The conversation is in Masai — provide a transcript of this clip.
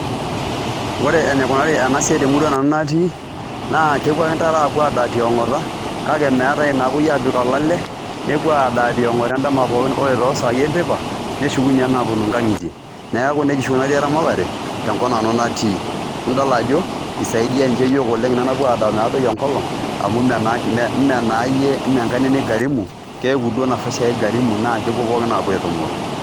Ore enikunari ena siai te murua nanu natii naa kepuo ake ntare adaa tionkata kake meetai naapoi aapik olale nepuo adaa tionkata endama pookin ore too saai enteipa neshukunye aaponu nkang'itie. Neeku neija oshi ikunari eramatare tenkop nanu natii nidol ajo isaidia nje iyiok ina napuo adaa metadoi enkolong' amu mee mee naa iyie enkaina ino igarimu keeku duo nafasi ake igarimu naake kepuo pookin aapuo aitumuru.